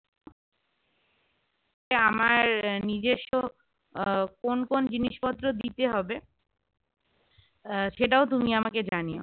আমার নিজস্ব আহ কোন কোন জিনিসপত্র দিতে হবে আহ সেটাও তুমি আমাকে জানিও